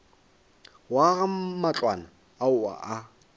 go aga matlwana ao a